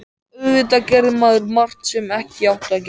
Auðvitað gerði maður margt sem ekki átti að gera.